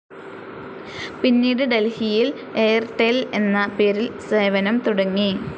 പിന്നീട് ഡൽഹിയിൽ എയർടെൽ എന്ന പേരിൽ സേവനം തുടങ്ങി.